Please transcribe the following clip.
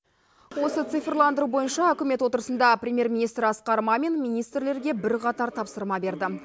осы цифрландыру бойынша үкімет отырысында премьер министр асқар мамин министрлерге бірқатар тапсырма берді